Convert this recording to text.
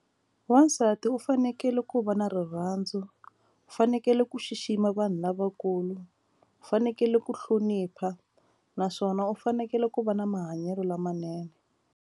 Wasati u fanekele ku va na rirhandzu u fanekele ku xixima vanhu lavakulu u fanekele ku hlonipha naswona u fanekele ku va na mahanyelo lamanene.